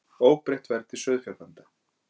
Óbreytt verð til sauðfjárbænda